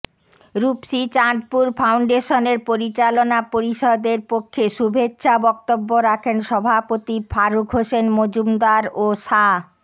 রুপসী চাঁদপুর ফাউন্ডেশনের পরিচালনা পরিষদের পক্ষে শুভেচ্ছা বক্তব্য রাখেন সভাপতি ফারুক হোসেন মজুমদার ও সা